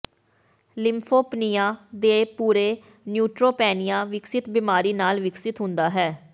lymphopenia ਦੇ ਨਾਲ ਪੂਰੇ ਨਿਓਟ੍ਰੋਪੈਨਿਆ ਵਿਕਸਤ ਬਿਮਾਰੀ ਨਾਲ ਵਿਕਸਿਤ ਹੁੰਦਾ ਹੈ